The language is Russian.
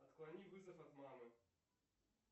отклони вызов от мамы